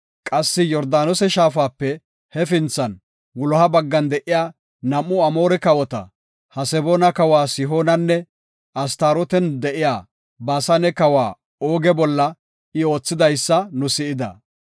Qassi Yordaanose shaafape hefinthan wuloha baggan de7iya nam7u Amoore kawota, Haseboona kawa Sihoonanne Astarooten de7iya Baasane kawa Ooge bolla I oothidaysa nu si7ida.